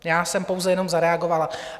Já jsem pouze jenom zareagovala.